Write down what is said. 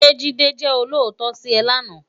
Sé Jide jè ólótò si è láná?